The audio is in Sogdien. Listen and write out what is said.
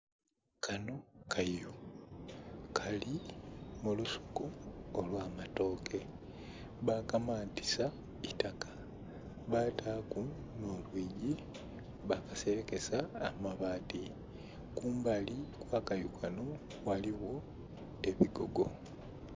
Kanho kayu kali mulusuku olwamatooke bakamantisa itaka bataku nho lwiigi bakaserekesa amabaati kumbali okwa kayu kanho ghaligho ebigogo.